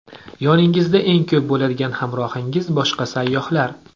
Yoningizda eng ko‘p bo‘ladigan hamrohingiz boshqa sayyohlar.